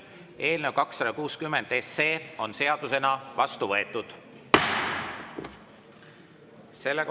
Eelnõu 260 on seadusena vastu võetud.